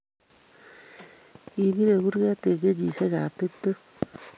Kibirei kuret eng kenyishiekab tuptem